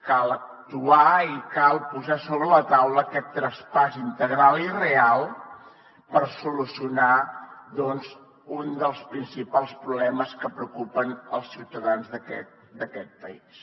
cal actuar i cal posar sobre la taula aquest traspàs integral i real per solucionar doncs un dels principals problemes que preocupen els ciutadans d’aquest país